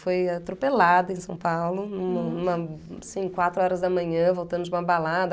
Foi atropelada em São Paulo, num numa assim, quatro horas da manhã, voltando de uma balada.